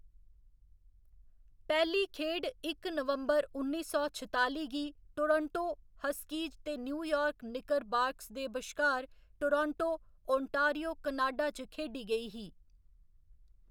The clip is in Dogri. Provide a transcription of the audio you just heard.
पैह्‌‌ली खेढ इक नवंबर, उन्नी सौ छताली गी टोरंटो हस्कीज ते न्यूयार्क निकरबाकर्स दे बश्कार टोरंटो, ओंटारियो, कनाडा च खेढी गेई ही।